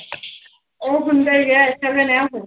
ਉਹ ਹੁੰਦਾ ਹੀ ਹੈ